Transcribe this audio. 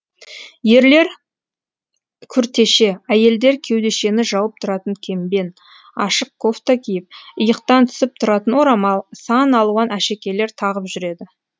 ерлер күртеше әйелдер кеудешені жауып тұратын кембен ашық кофта киіп иықтан түсіп тұратын орамал сан алуан әшекейлер тағып жүреді